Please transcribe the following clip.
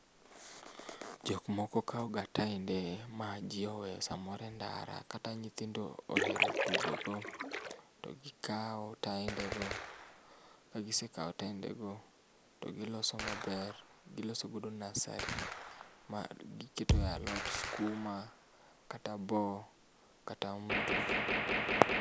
Jok mokokaw ga teande ma jii oweye samoro e ndara kata nyithindo ohero tugo go to gikao taende go ka gisekao taende go too giloso maber, giloso godo nursery ma giketo e alot skuma kata boo, kata mto